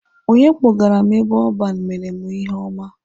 Onye kpọgara m ebe ọban mere mụ ihe ọma.